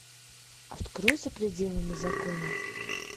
открой за пределами закона